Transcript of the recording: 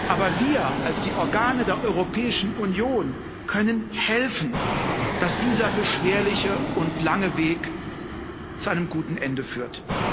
Aber wir als die Organe der Europäischen Union können helfen, dass dieser beschwerliche und lange Weg zu einem guten Ende führt.